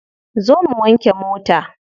Zo mu wanke mota.